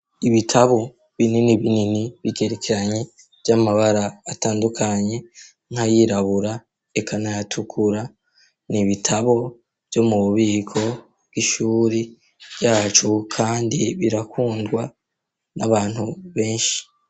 Ibitabo binini binini bigerekanye vy'amabara atandukanye nkayirabura ekanayatukura ni ibitabo vyo mu bubiko bw'ishuri ryacu, kandi birakundwa n'abantu benshi.